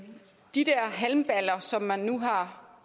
de der halmballer som man nu har